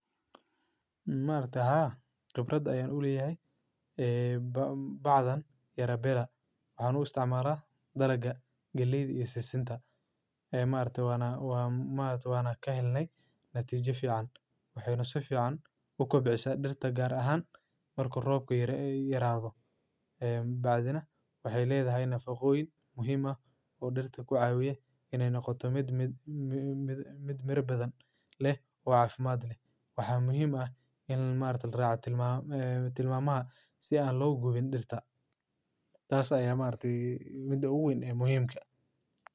Maarta ha khibrad ayay u liiyaa ee ba-baadan yara beran. Aanu isticmaalaa daraga geliid iyo seisinta. Maartu waa maartu waana ka helnay natiijo fiican, waxeeynu sa fiican u kubcisaa dhirta gaar ahaan marka roobku yara yaraado. Ee baadina waxee leedahay nafaqooyin muhiima oo dhirta ku caawiye inay noqoto mid mid mid mirabadan leh oo afiimaad leh. Waxaa muhiim ah in maartu raaca tilmaamada tilmaamaha si aan loogu weyn dhirta. Taas ayee maarti muddo u weyn ee muhiimka.